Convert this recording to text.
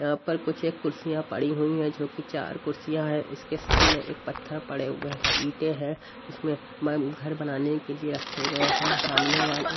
यहां पर कुछ एक कुर्सियां पड़ी हुई हैं जो की चार कुर्सियां हैं इसके सामने एक पत्थर पड़े हुए हैं इंटें हैं इसमें मैं घर बनाने के लिए रखे गए हैं सामने वाले--